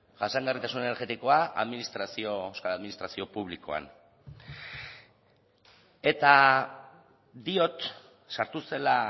jasangarritasun energetikoa euskal administrazio publikoan eta diot sartu zela